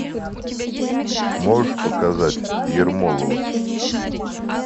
можешь показать ермолова